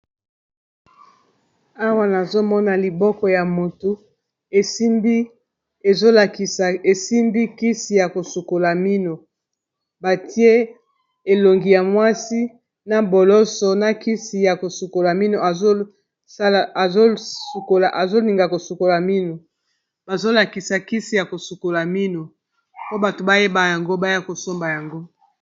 awa nazomona liboko ya moto esimbi kisi ya kosukola mino batie elongi ya mwasi na boloso na kisi ya kosukola mino azolinga kosukola mino bazolakisa kisi ya kosukola mino po bato bayeba yango baya kosomba yango